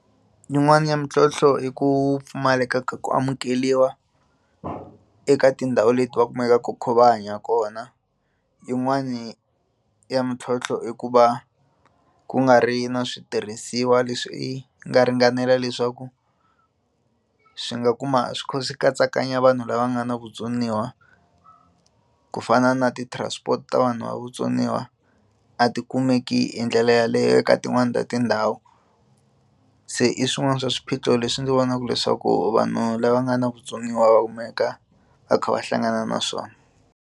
Yin'wani ya mintlhontlho i ku pfumaleka ka ku amukeriwa eka tindhawu leti va kumekaku va kha va hanya kona yin'wani ya mintlhontlho i ku va ku nga ri na switirhisiwa leswi swi nga ringanela leswaku ku swi nga kuma swi kha swi katsakanya vanhu lava nga na vutsoniwa ku fana na ti transport ta vanhu va vutsoniwa a ti kumeki hi ndlela ya yaleyo eka tin'wani ta tindhawu se i swin'wana swa swiphiqo leswi ndzi vonaka leswaku vanhu lava nga na vutsoniwa va kumeka va kha va hlangana na swona.